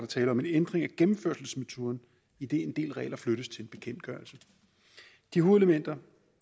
tale om en ændring af gennemførselsmetoden idet en del regler flyttes til en bekendtgørelse de hovedelementer